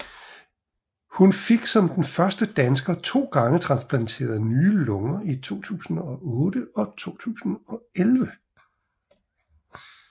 Hun fik som den første dansker to gange transplanteret nye lunger i 2008 og 2011